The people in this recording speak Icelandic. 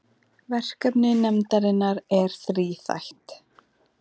Verkefni nefndarinnar er þríþætt